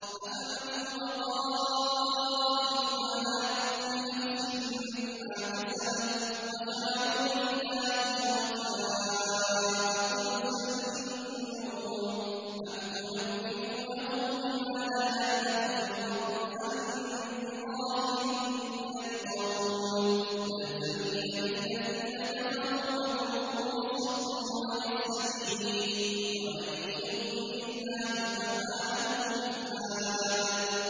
أَفَمَنْ هُوَ قَائِمٌ عَلَىٰ كُلِّ نَفْسٍ بِمَا كَسَبَتْ ۗ وَجَعَلُوا لِلَّهِ شُرَكَاءَ قُلْ سَمُّوهُمْ ۚ أَمْ تُنَبِّئُونَهُ بِمَا لَا يَعْلَمُ فِي الْأَرْضِ أَم بِظَاهِرٍ مِّنَ الْقَوْلِ ۗ بَلْ زُيِّنَ لِلَّذِينَ كَفَرُوا مَكْرُهُمْ وَصُدُّوا عَنِ السَّبِيلِ ۗ وَمَن يُضْلِلِ اللَّهُ فَمَا لَهُ مِنْ هَادٍ